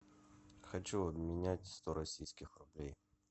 хочу обменять сто российских рублей